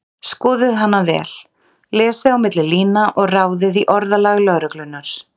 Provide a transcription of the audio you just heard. Skoðið hana vel, lesið á milli lína og ráðið í orðalag lögreglunnar.